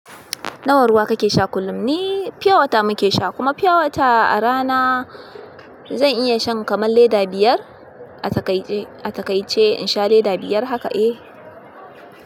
Nawa ruwa kake sha kullum ni fiyawata muke sha, kuma fiyawata a rana zan iya shan kamar leda biyar. A takaice, a takaice in sha leda biyar haka e.